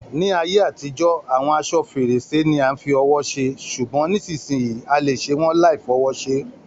Ni ayé àtijọ́, awọn aṣọ-férèsí ni a fi ọwọ́ ṣe, ṣugbọn nisisiyi, a le ṣe wọn laifọwọ́ ṣe.